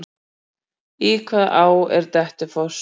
Í hvaða á er Dettifoss?